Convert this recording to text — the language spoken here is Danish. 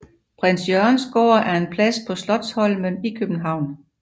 Prins Jørgens Gård er en plads på Slotsholmen i København